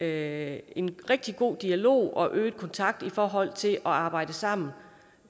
er en rigtig god dialog og øget kontakt i forhold til at arbejde sammen